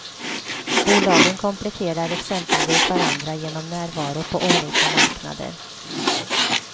Bolagen kompletterar exempelvis varandra genom närvaro på olika marknader.